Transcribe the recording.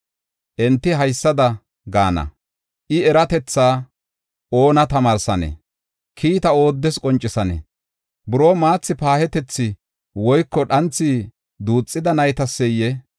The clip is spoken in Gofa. Enti haysada gaana: “I eratethaa oona tamaarsanee? Kiita ooddes qoncisanee? Buroo maathi paahetiya woyko dhanthi duuxida naytaseyee?